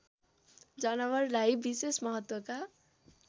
जनावरलाई विशेष महत्त्वका